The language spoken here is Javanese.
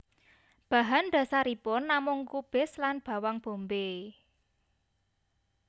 Bahan dasaripun namung kubis lan bawang bombay